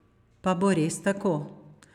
Pa bo res tako?